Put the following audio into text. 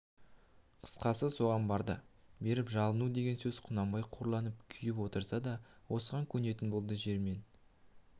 қысқасы соған барды беріп жалыну деген сөз құнанбай қорланып күйіп отырса да осыған көнетін болды жермен